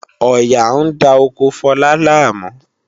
Ọ̀yà ń da oko Fọlá láàmú